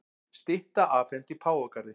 Stytta afhent í Páfagarði